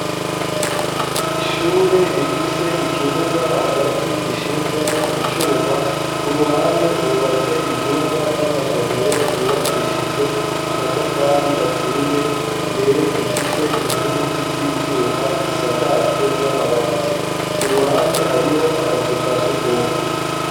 Ishure rifise ikibuga hagati gishinzemwo icuma ku ruhande hubatse ivyumba vy'amasomero vyubakishijwe amatafari aturiye imbere bifise inkingi z'ivyuma bisakajwe n'amabati ku ruhande hariho akazu kasugumwe